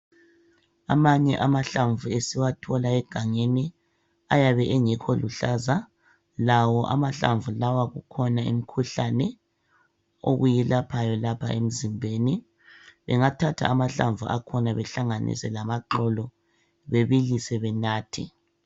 Amanye amahlamvu esiwathola egangeni ayabe engekho luhlaza lawo amahlamvu lawa kukhona imikhuhlane okuyilaphayo lapha emzimbeni. Bengathatha amahlamvu akhona bahlanganise lamaxolo bebilise benathe.